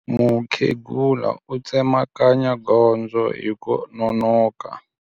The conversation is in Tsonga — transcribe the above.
Mukhegula u tsemakanya gondzo hi ku nonoka.